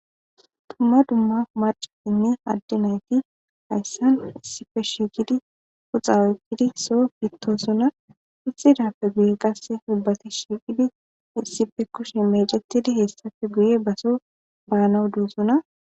Tumma dumma marcatinne adde nayti hayssan issife shiiqidi puxaweytidi so pittosona ixidappe guye qasse ibbati shiiqidi issife kushi mecetidi hessafe guye baso baanawo duusona.